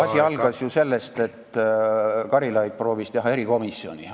Asi algas ju sellest, et Karilaid proovis teha erikomisjoni.